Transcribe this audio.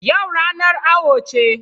Yau ranar awo ce.